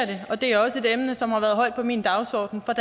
det og det er også et emne som har været højt på min dagsorden fra